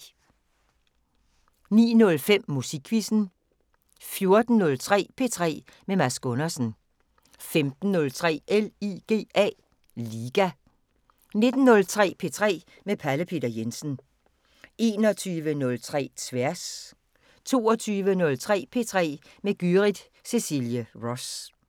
09:05: Musikquizzen 14:03: P3 med Mads Gundersen 15:03: LIGA 19:03: P3 med Pelle Peter Jensen 21:03: Tværs 22:03: P3 med Gyrith Cecilie Ross